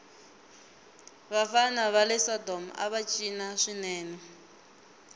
vafana vale sodomava cina swinene